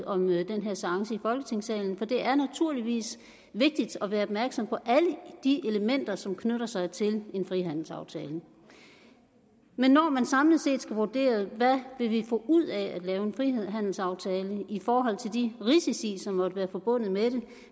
om den her seance i folketingssalen for det er naturligvis vigtigt at være opmærksom på alle de elementer som knytter sig til en frihandelsaftale men når man samlet set skal vurdere hvad vi vil få ud af en frihandelsaftale i forhold til de risici som måtte være forbundet med